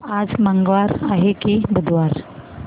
आज मंगळवार आहे की बुधवार